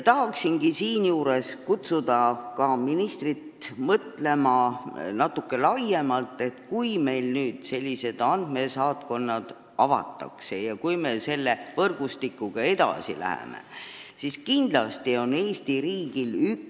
Tahaksingi nüüd, kui sellised andmesaatkonnad avatakse ja me selle võrgustikuga edasi läheme, kutsuda ka ministrit üles natuke laiemalt mõtlema.